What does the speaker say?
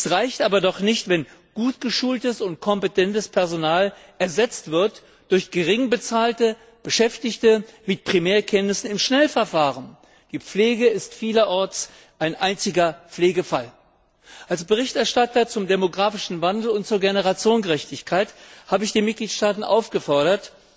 Es reicht aber doch nicht, wenn gut geschultes und kompetentes Personal ersetzt wird durch geringbezahlte Beschäftigte mit Primärkenntnissen im Schnellverfahren. Die Pflege ist vielerorts ein einziger Pflegefall. Als Berichterstatter zum demographischen Wandel und zur Generationengerechtigkeit habe ich die Mitgliedstaaten aufgefordert,